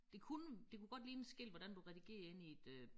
Det kunne det kunne godt ligne et skilt hvordan du redigerer inde i et øh